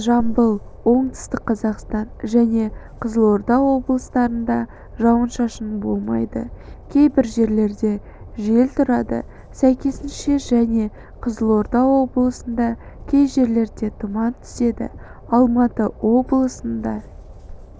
жамбыл оңтүстік қазақстан және қызылордаоблыстарында жауын-шашын болмайды кейбір жерлерде жел тұрады сәйкесінше және қызылорда облысында кей жерлерде тұман түседі алматы облысында